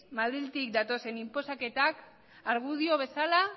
madriletik datozen inposaketak argudio bezala